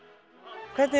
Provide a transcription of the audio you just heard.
hvernig